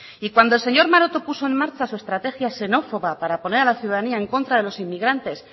y cuando el señor maroto puso en marcha su estrategiaxenófoba para poner a la ciudadanía en contra de los inmigrantes